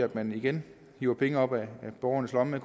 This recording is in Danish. at man igen hiver penge op af borgernes lommer